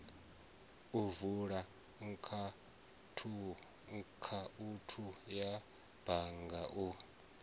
vula akhaunthu ya bannga u